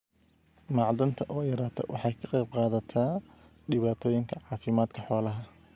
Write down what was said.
Macdanta oo yaraata waxay ka qayb qaadataa dhibaatooyinka caafimaadka xoolaha.